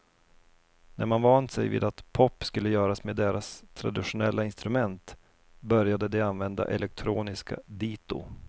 När man vant sig vid att pop skulle göras med deras traditionella instrument började de använda elektroniska dito.